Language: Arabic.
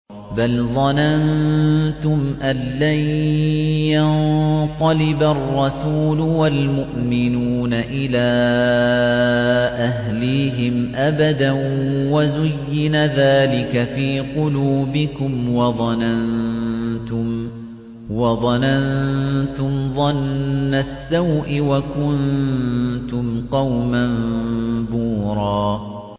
بَلْ ظَنَنتُمْ أَن لَّن يَنقَلِبَ الرَّسُولُ وَالْمُؤْمِنُونَ إِلَىٰ أَهْلِيهِمْ أَبَدًا وَزُيِّنَ ذَٰلِكَ فِي قُلُوبِكُمْ وَظَنَنتُمْ ظَنَّ السَّوْءِ وَكُنتُمْ قَوْمًا بُورًا